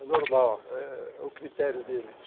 É normal, é o critério deles.